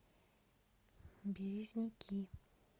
березники